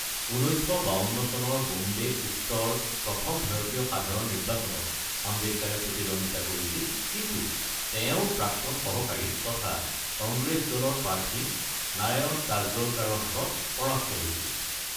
১৯৫২ চনৰ বম্বে উত্তৰ প্ৰথম ভাৰতীয় সাধাৰণ নিৰ্বাচনত আম্বেদকাৰে প্ৰতিদ্বন্দ্বিতা কৰিছিল কিন্তু তেওঁৰ প্ৰাক্তন সহকাৰী তথা কংগ্ৰেছ দলৰ প্ৰাৰ্থী নাৰায়ণ কাজৰলকাৰৰ হাতত পৰাস্ত হৈছিল।